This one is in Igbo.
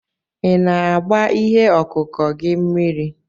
Ị na-agba ihe ọkụkụ gị mmiri?